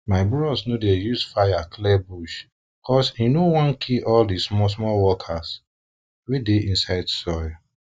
my bros no dey use fire clear bush cause e no e no wan kill all di smallsmall workers wey dey inside soil